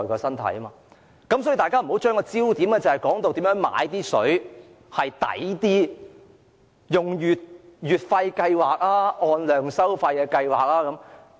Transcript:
因此，我請大家不要把焦點放在如何用較經濟的方式買水，例如應採用月費計劃還是按量收費計劃。